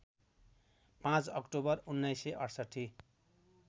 ५ October १९६८